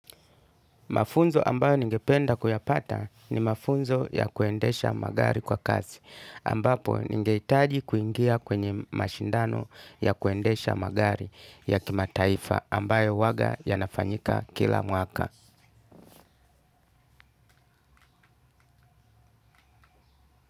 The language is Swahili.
Mafunzo ambayo ningependa kuyapata ni mafunzo ya kuendesha magari kwa kazi, ambapo ningehitaji kuingia kwenye mashindano ya kuendesha magari ya kimataifa ambayo huwaga yanafanyika kila mwaka.